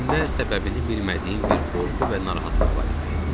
İçimdə səbəbini bilmədiyim bir qorxu və narahatlıq var idi.